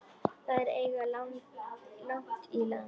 Þær eiga langt í land.